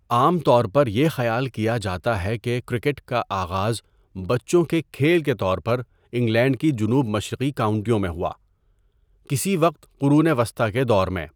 عام طور پر یہ خیال کیا جاتا ہے کہ کرکٹ کا آغاز بچوں کے کھیل کے طور پر انگلینڈ کی جنوب مشرقی کاؤنٹیوں میں ہوا، کسی وقت قرون وسطیٰ کے دور میں۔